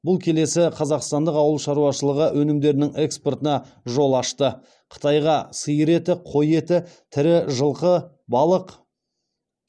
бұл келесі қазақстандық ауыл шаруашылығы өнімдерінің экспортына жол ашты қытайға сиыр еті қой еті тірі жылқы балық